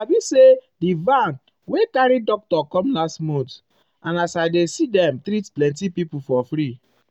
you sabi say di um van wey carry doctor come last month and as i dey see dem treat plenty people for free.